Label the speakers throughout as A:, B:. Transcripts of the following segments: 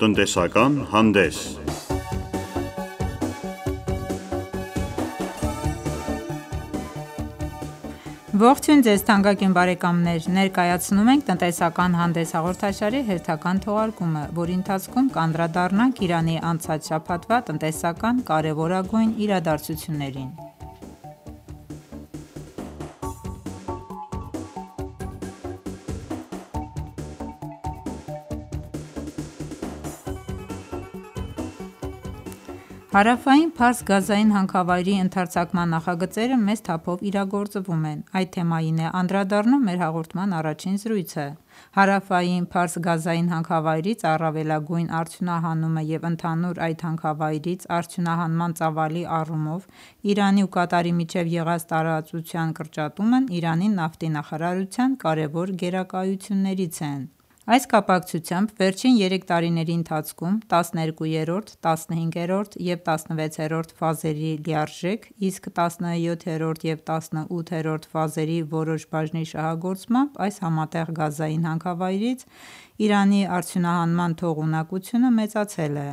A: Տնտեսական հանդես Ողջույն Ձեզ թանկագին բարեկամներ: Ներկայացնում ենք «Տնտեսական հանդես» հաղորդաշարի հերթական թողարկումը, որի ընթացքում կանդրադառնանք Իրանի անցած շաբաթվա տնտեսական կարևորագույն իրադարձություններին: Հարավային Փարս գազային հանքավայրի ընդարձակման նախագծերը մեծ թափով իրագործվում են: Այդ թեմային է անդրադառնում մեր հաղորդման առաջին զրույցը: «Հարավային Փարս» գազային հանքավայրից առավելագույն արդյունահանումը և ընդհանուր այդ հանքավայրից արդյունահանման ծավալի առումով Իրանի ու Կատարի միջև եղած տարածության կրճատումն Իրանի նավթի նախարարության կարևոր գերակայություններից են: Այս կապակցությամբ վերջին երեք տարիների ընթացքում 12-րդ, 15-րդ և 16-րդ ֆազերի լիարժեք, իսկ 17-րդ ու 18-րդ ֆազերի որոշ բաժնի շահագործմամբ այս համատեղ գազային հանքավայրից Իրանի արդյունահանման թողունակությունը մեծացել է: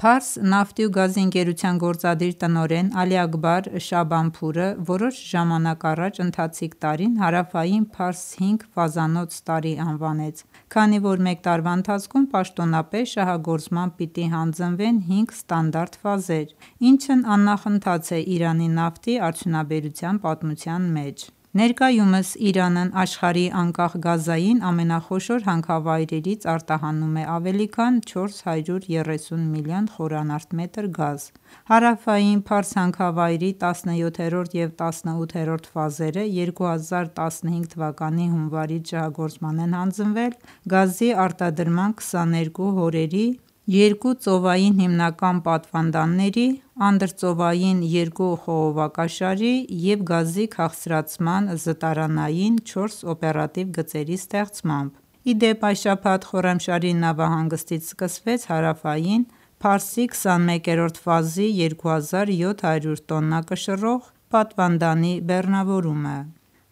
A: Փարս նավթի ու գազի ընկերության գործադիր տնօրեն Ալի Աքբար Շաաբանփուրը որոշ ժամանակ առաջ ընթացիկ տարին Հարավային Փարսի հինգ ֆազանոց տարի անվանեց, քանի որ մեկ տարվա ընթացքում պաշտոնապես շահագործման պիտի հանձնվեն հինգ ստանդարտ ֆազեր, ինչն աննախընթաց է Իրանի նավթի արդյունաբերության պատմության մեջ: Ներկայումս Իրանն աշխարհի անկախ գազային ամենախոշոր հանքավայրից արդյունահանում է ավելի քան 430 միլիոն խմ գազ: Հարավային Փարս հանքավայրի 17-րդ և 18-րդ ֆազերը 2015 թվականի հունվարից շահագործման են հանձնվել գազի արտադրման 22 հորերի, երկու ծովային հիմնական պատվանդանների, անդրծովային երկու խողովակաշարի և գազի քաղցրացման զտարանային չորս օպերատիվ գծերի ստեղծմամբ: Ի դեպ, այս շաբաթ Խոռամշահրի նավահանգստից սկսվեց Հարավային Փարսի 21-րդ ֆազի 2700 տոննա կշռող պատվանդանի բեռնավորումը: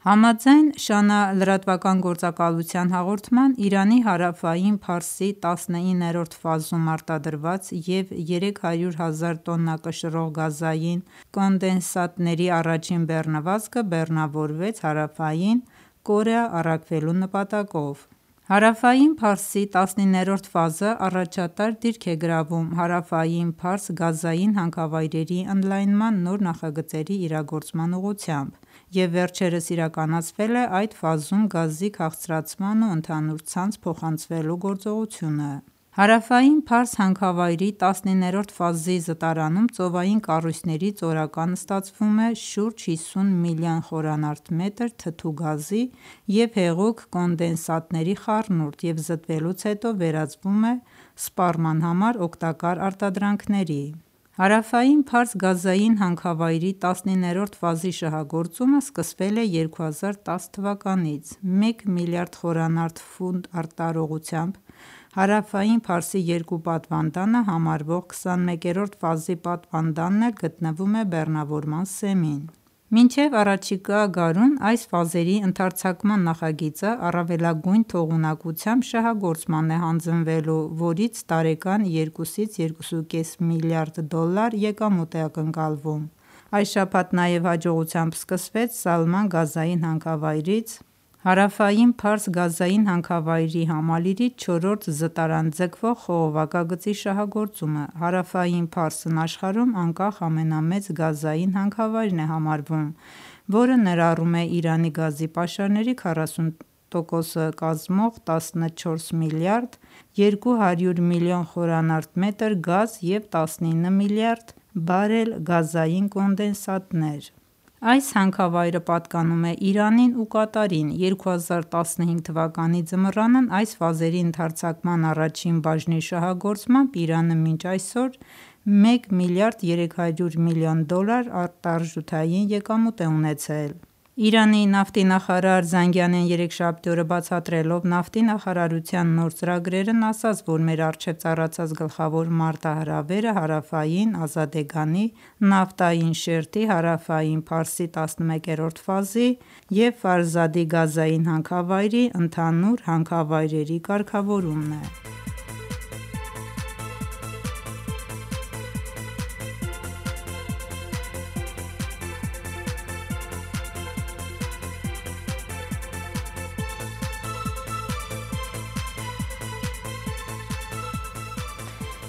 A: Համաձայն ՇԱՆԱ լրատվական գործակալության հաղորդման, Իրանի Հարավային Փարսի 19-րդ ֆազում արտադրված և 300 հազար տոննա կշռող գազային կոնդենսատների առաջին բեռնվածքը բեռնավորվեց Հարավային Կորեա առաքվելու նպատակով: Հարավային Փարսի 19-րդ ֆազը առաջատար դիրք է գրավում Հարավային Փարս գազային հանքավայրերի ընդլայնման նոր նախագծերի իրագործման ուղղությամբ և վերջերս իրականացվել է այդ ֆազում գազի քաղցրացման ու ընդհանուր ցանց փոխանցվելու գործողությունը: Հարավային Փարս հանքավայրի 19-րդ ֆազի զտարանում ծովային կառույցներից օրական ստացվում է շուրջ 57 միլիոն խմ թթու գազի և հեղուկ կոնդենսատների խառնուրդ և զտվելուց հետո վերածվում է սպառման համար օգտակար արտադրանքների: Հարավային Փարս գազային հանքավայրի 19-րդ ֆազի շահագործումը սկսվել է 2010 թվականից: Մեկ միլիարդ խորանարդ ֆուտ տարողությամբ Հարավային Փարսի երկու պատվանդանը համարվող 21-րդ ֆազի պատվանդանն էլ գտնվում է բեռնավորման սեմին: Մինչև առաջիկա գարուն այս ֆազերի ընդարձակման նախագիծը առավելագույն թողունակությամբ շահագործման է հանձնվելու, որից տարեկան 2-ից 2.5 միլիարդ դոլար եկամուտ է ակնկալվում: Այս շաբաթ նաև հաջողությամբ սկսվեց Սալման գազային հանքավայրից Հարավային Փարս գազային հանքավայրի համալիրի 4-րդ զտարան ձգվող խողովակագծի շահագործումը: Հարավային Փարսն աշխարհում անկախ ամենամեծ գազային հանքավայրն է համարվում, որը ներառում է Իրանի գազի պաշարների 40 տոկոսը կազմող 14 միլիարդ 200 միլիոն խմ գազ և 19 միլիարդ բարել գազային կոնդենսատներ: Այս հանքավայրը պատկանում է Իրանին ու Կատարին: 2015 թվականի ձմռանն այս ֆազերի ընդարձակման առաջին բաժնի շահագործմամբ Իրանը մինչ այսօր մեկ միլիարդ 300 միլիոն դոլար արտարժութային եկամուտ է ունեցել: Իրանի նավթի նախարար Զանգանեն երեքշաբթի օրը բացատրելով նավթի նախարարության նոր ծրագրերն ասաց, որ մեր առջև ծառացած գլխավոր մարտահրավերը Հարավային Ազադեգանի, նավթային շերտի, Հարավային Փարսի 11-րդ ֆազի և գազային հանքավայրի ընդհանուր հանքավայրերի կարգավորումն է: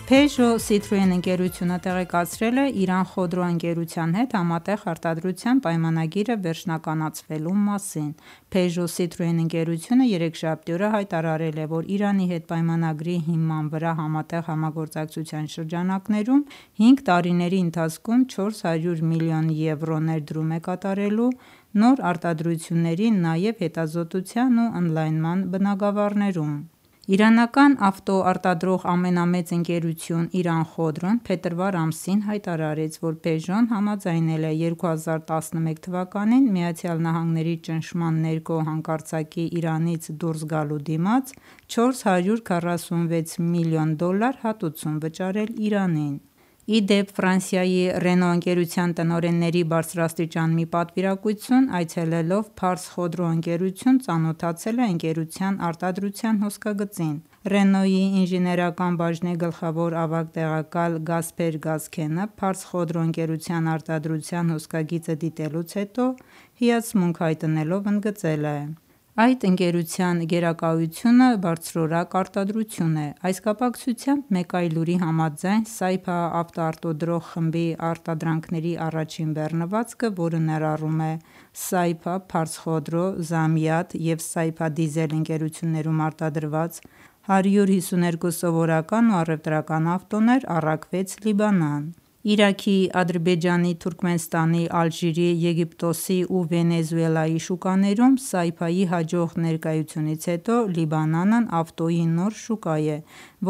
A: «Պեժո Սիթրոեն» ընկերությունը տեղեկացրել է «Իրան Խոդրո» ընկերության հետ համատեղ արտադրության պայմանագիրը վերջնականացվելու մասին: «Պեժո Սիթրոեն» ընկերությունը երեքշաբթի օրը հայտարարել է, որ Իրանի հետ պայմանագրի հիման վրա համատեղ համագործակցության շրջանակներում, հինգ տարիների ընթացքում 400 միլիոն եվրո՝ (451 միլիոն դոլարի) ներդրում է կատարելու նոր արտադրությունների նաև հետազոտության ու ընդլայնման բնագավառներում: Իրանական ավտոարտադրող ամենամեծ ընկերություն «Իրան Խոդրոն» փետրվար ամսին հայտարարեց, որ «Պեժոն» համաձայնել է 2011 թվականին ԱՄՆ-ի ճնշման ներքո հանկարծակի Իրանից դուրս գալու դիմաց, 446 միլիոն դոլար հատուցում վճարել Իրանին: «Ռենո» ընկերության տնօրենների բարձրաստիճան մի պատվիրակություն այցելելով «Փարս Խոդրո» ընկերություն, ծանոթացել է ընկերության արտադրության հոսքագծին: «Ռենո»-ի ինժեներական բաժնի գլխավոր ավագ տեղակալ Գասփեր Գասքենը «Փարս Խոդրո» ընկերության արտադրության հոսքագիծը դիտելուց հետո հիացմունք հայտնելով ընդգծել է, որ այդ ընկերության գերակայությունը բարձրորակ արտադրությունն է: Այս կապակցությամբ մեկ այլ լուրի համաձայն «Սայփա» ավտոարտադրող խմբի արտադրանքների առաջին բեռնվածքը, որը ներառում է «Սայփա», «Փարս Խոդրո», «Զամիադ» և «Սայփա Դիզել» ընկերություններում արտադրված 152 սովորական ու առևտրական ավտոներ, առաքվեց Լիբանան: Իրաքի, Ադրբեջանի, Թուրքմենստանի, Ալժիրի, Եգիպտոսի ու Վենեսուելայի շուկաներում «Սայփա»-ի հաջող ներկայությունից հետո Լիբանանն ավտոյի նոր շուկան է,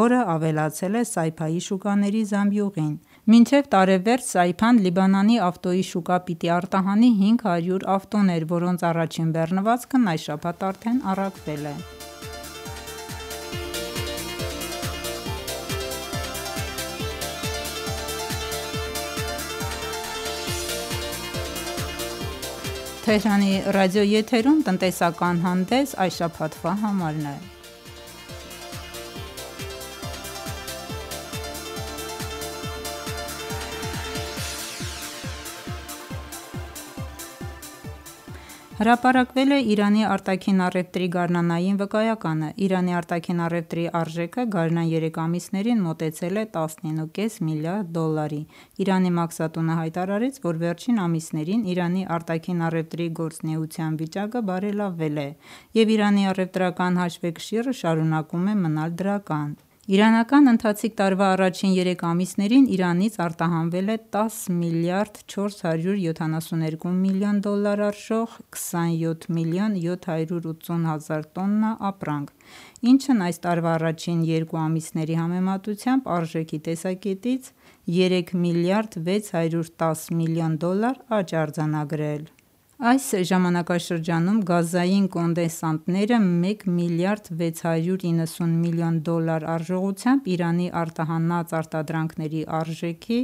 A: որ ավելացել «Սայփա»-ի շուկաների զամբյուղին: Մինչև տարեվերջ «Սայփա»-ն Լիբանանի ավտոյի շուկա պիտի արտահանի 500 ավտոներ, որոնց առաջին բեռնվածքն այս շաբաթ արդեն առաքվել է: Հրապարակվել է Իրանի արտաքին առևտրի գարնանային վկայականը: Իրանի արտաքին առևտրի արժեքը գարնան երեք ամիսներին մոտեցել է 19.5 միլիարդ դոլարի: Իրանի մաքսատունը հայտարարեց, որ վերջին ամիսներին Իրանի արտաքին առևտրի գործունեության վիճակը բարելավել է և Իրանի առևտրական հաշվեկշիռը շարունակում է դրական մնալ: Իրանական ընթացիկ տարվա առաջին երեք ամիսներին Իրանից արտահանվել է 10 միլիարդ 472 միլիոն դոլար արժող 27 միլիոն 780 հազար տոննա ապրանք, ինչն այս տարվա առաջին երկու ամիսների համեմատությամբ արժեքի տեսակետից 3 միլիարդ 610 միլիոն դոլար աճ է արձանագրել: Այս ժամանակաշրջանում գազային կոնդենսատները մեկ միլիարդ 690 միլիոն դոլար արժողությամբ Իրանի արտահանած արտադրանքների արժեքի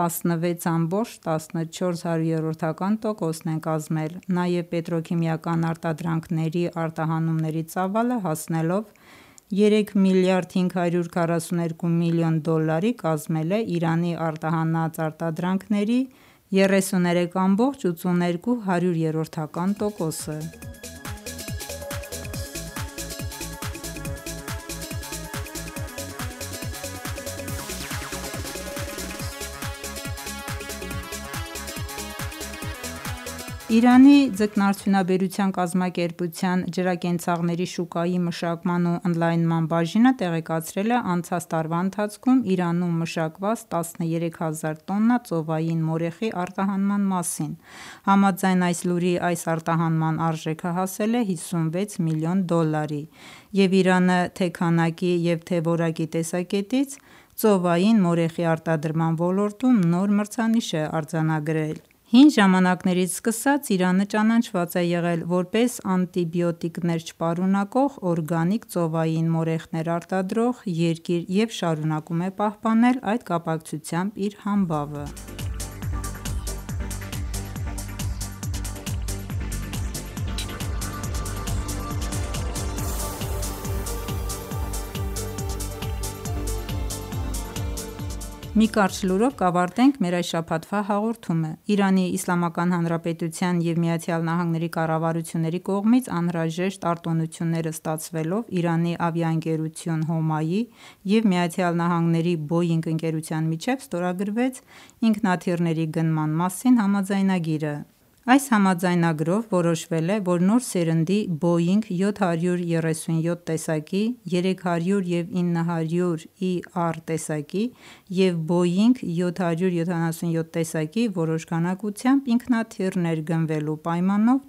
A: 16.14 տոկոսն են կազմել: Նաև պետրոքիմիական արտադրանքների արտահանումների ծավալը հասնելով 3 միլիարդ 542 միլիոն դոլարի կազմել է Իրանի արտահանած արտադրանքների 33.82 տոկոսը: Իրանի ձկնարդյունաբերության կազմակերպության ջրակենցաղների շուկայի մշակման ու ընդլայնման բաժինը տեղեկացրել է անցած տարվա ընթացքում Իրանում մշակված 13000 տոննա ծովային մորեխի արտահանման մասին: Համաձայն այս լուրի այս արտահանման արժեքը հասել է 56 միլիոն դոլարի և Իրանը թե՛ քանակի և թե՛ որակի տեսակետից ծովային մորեխի արտադրման ոլորտում նոր մրցանիշ է արձանագրել: Հին ժամանակներից սկսած Իրանը ճանաչված է եղել, որպես անտիբիոտիկներ չպարունակող օրգանիկ ծովային մորեխներ արտադրող երկիր և շարունակում է պահպանել այդ կապակցությամբ իր համբավը: Մի կարճ լուրով կավարտենք մեր այս շաբաթվա հաղորդումը: ԻԻՀ-ի և ԱՄՆ-ի կառավարությունների կողմից անհրաժեշտ արտոնությունները ստացվելով Իրանի ավիաընկերություն՝ «Հոմա»-ի և ԱՄՆ-ի «Բոյինգ» ընկերության միջև ստորագրվեց ինքնաթիռների գնման մասին համաձայնագիրը: Այս համաձայնագրով որոշվել է, որ նոր սերնդի «Բոյինգ 737» տեսակի, «300 և 900 ER» տեսակի և «Բոյինգ 777» տեսակի որոշ քանակությամբ ինքնաթիռներ գնվելու պայմանով